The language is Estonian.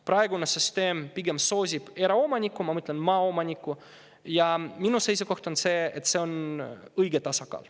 Praegune süsteem pigem soosib eraomanikku, ma mõtlen maaomanikku, ja minu seisukoht on, et see on õige tasakaal.